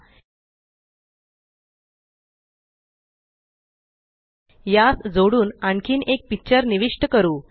एलटीपॉजेग्ट यास जोडुन आणखीन एक पिक्चर निविष्ट करू